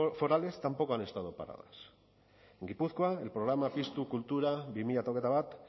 forales tampoco han estado paradas en gipuzkoa el programa piztu kultura dos mil veintiuno